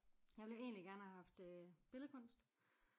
Jeg ville jo egentlig gerne have haft øh billedkunst